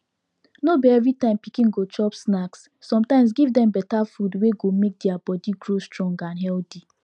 no be every time pikin go chop snacks sometimes give dem better food wey go make deir body grow strong and healthy